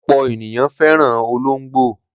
Ọ̀pọ̀ ènìyàn fẹ́ràn olóńgbò.